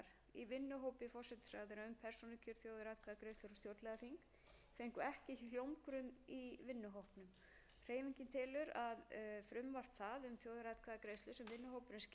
í vinnuhópi forsætisráðherra um persónukjör þjóðaratkvæðagreiðslur og stjórnlagaþing fengu ekki hljómgrunn í vinnuhópnum hreyfingin telur að frumvarp það